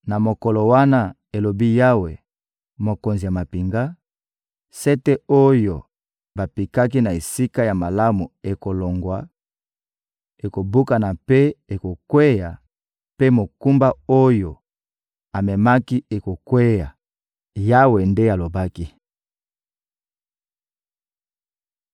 Na mokolo wana, elobi Yawe, Mokonzi ya mampinga, sete oyo bapikaki na esika ya malamu ekolongwa, ekobukana mpe ekokweya; mpe mokumba oyo amemaki ekokweya.›» Yawe nde alobaki.